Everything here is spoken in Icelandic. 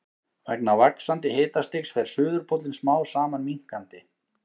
Vegna vaxandi hitastigs fer suðurpóllinn smám saman minnkandi.